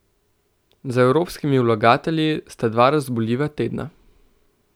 Za evropskimi vlagatelji sta dva razburljiva tedna.